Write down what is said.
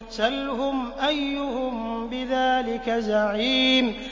سَلْهُمْ أَيُّهُم بِذَٰلِكَ زَعِيمٌ